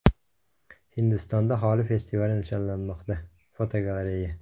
Hindistonda Holi festivali nishonlanmoqda (fotogalereya).